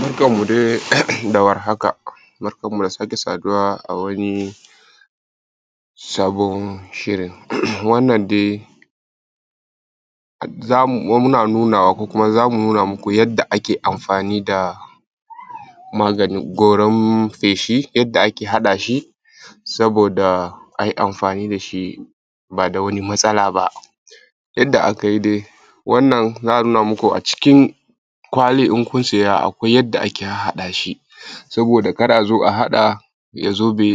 Barkamu dai da warhaka, barkamu da sake saduwa a wani sabon shirin. Wannan dai za mu wa munanuwa ko kuma za mu nuna muku yadda ake amfani da maganin goran feshi, yadda ake haɗa shi saboda ai amfani da shi ba da wani matasala ba. Yadda aka yi dai wannan za a nuna muku a cikin kwalin, in kun siya, akwai yadda ake harhada shi saboda kar a zo a haɗa ya zo be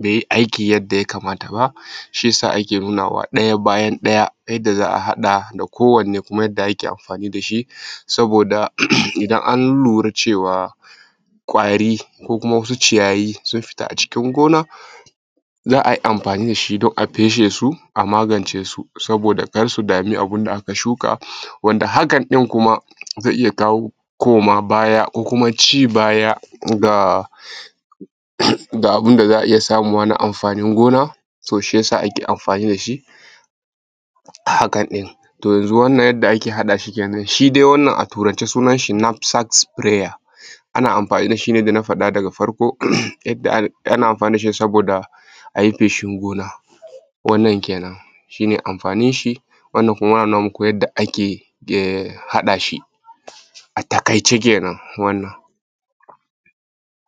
be yi aiki yadda ya kamta ba, shi ya sa ake nuna wa ɗaya bayan ɗaya yadda za a haɗa da ko wanne kuma ake amfani da shi saboda in an lura cewa kwari ko kuma wasu ciyayi sun fita a cikin gona za a amfani da shi don a feshe su a magance su saboda kar su sami abun da aka shuka wanda hakan ɗin kuma ze iya kawo komabaya ko kuma ci baya ga da abun da za a samu wannan amfanin gona, a’ǝ shi yasa ake amfani da shi, hakan ne ta hanya wannan yadda ake haɗa shi kenan, shi dai wannan a turance sunan shi moksasa fayera ana amfani da shi ne da na faɗa da farko, yadda aka ana amfani da shi ne saboda ai feshin gona. Wannan kenan shi ne amfanin shi, wannan kuma nuna muku yadda ake haɗa shi a taƙaice kenan wannan.